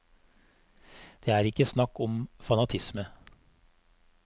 Det er ikke snakk om fanatisme.